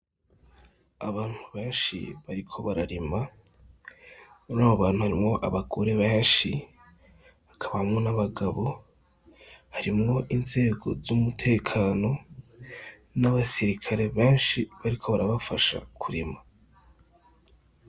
Abantu benshi bariko bararima , murabo bantu harimwo abagore benshi hakabamwo n'abagabo, harimwo inzego z'umutekano, n'abasirikare benshi bariko barafasha kurima .